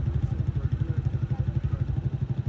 Sağ tərəfdən söhbət gedir.